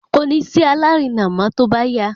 kòní sí alárinà mọ tóbá yá